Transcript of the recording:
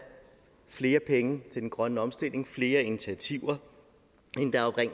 flere penge til den grønne omstilling flere initiativer